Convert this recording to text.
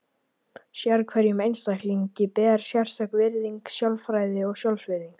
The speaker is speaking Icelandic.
Sérhverjum einstaklingi ber sérstök virðing, sjálfræði og sjálfsvirðing.